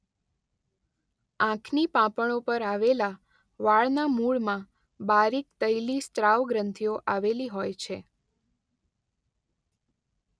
આંખની પાંપણો પર આવેલા વાળના મૂળમાં બારીક તૈલી સ્ત્રાવ ગ્રંથિઓ આવેલી હોય છે.